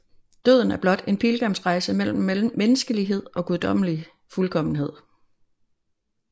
Døden er blot en pilgrimsrejse mellem menneskelighed og guddommelig fuldkommenhed